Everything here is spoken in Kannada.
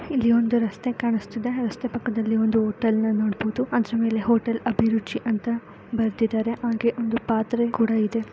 ಇಲ್ಲಿ ಒಂದು ರಸ್ತೆ ಕಾಣಸ್ತಿದೆ ರಸ್ತೆ ಪಕ್ಕದಲ್ಲಿ ಒಂದು ಹೋಟೆಲ್ ಅನ್ ನೋಡಬಹುದು .ಮತ್ತೆ ಇಲ್ಲಿ ಹೋಟೆಲ್ ಅಭಿರುಚಿ ಅಂತ ಬರೆದಿದ್ದರೆ ಹಾಗೆ ಒಂದು ಪಾತ್ರೆ ಕೂಡ ಇದೆ .